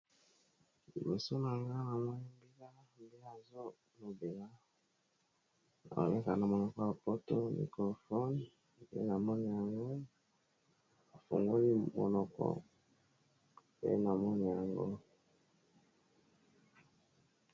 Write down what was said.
Liboso na ngai na mon mbila mbe azo lobela azo loba na monoko ya poto microfone pe na mona yango a fungoli monoko pe na mona yango .